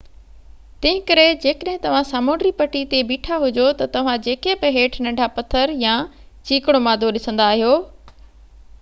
تنهنڪري جيڪڏهن توهان سامونڊي پٽي تي بيٺا هجو ته توهان جيڪي بہ هيٺ ننڍا پٿر يا چيڪڻو مادو ڏسندا آهيو